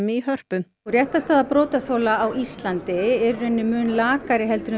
í Hörpu réttarstaða brotaþola á Íslandi er í rauninni mun lakari heldur en